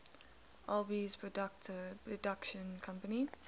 alby's production company